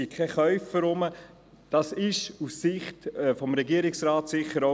Deshalb wurden diese Geschäfte auf den Donnerstag verschoben.